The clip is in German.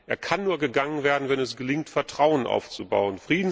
Er kann nur gegangen werden, wenn es gelingt, Vertrauen aufzubauen.